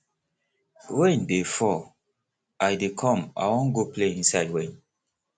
rain dey fall i dey come i wan go play inside rain